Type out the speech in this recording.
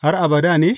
Har abada ne?